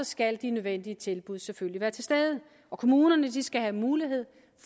skal de nødvendige tilbud selvfølgelig være til stede og kommunerne skal have mulighed